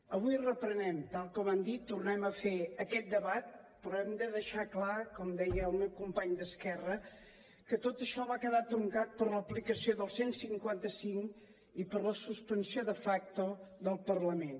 avui reprenem tal com han dit tornem a fer aquest debat però hem de deixar clar com deia el meu company d’esquerra que tot això va quedar truncat per l’aplicació del cent i cinquanta cinc i per la suspensió de facto del parlament